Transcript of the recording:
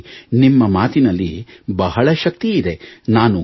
ಹಾಗಾಗಿ ನಿಮ್ಮ ಮಾತಿನಲ್ಲಿ ಬಹಳ ಶಕ್ತಿಯಿದೆ